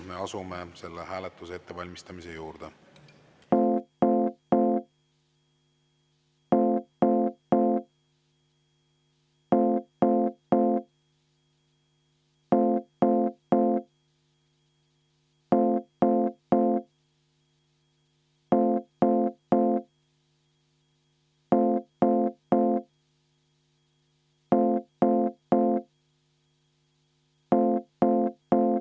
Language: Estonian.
Me asume selle hääletuse ettevalmistamise juurde.